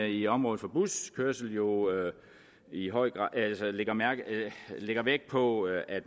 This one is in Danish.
i området for buskørsel jo i høj grad lægger vægt på at